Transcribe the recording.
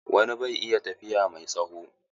Wani bai iya tafiya mai tsawo.